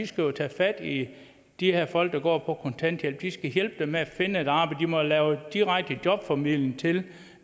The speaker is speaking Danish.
skal tage fat i de her folk der går på kontanthjælp de skal hjælpe dem med at finde et arbejde de må lave direkte jobformidling til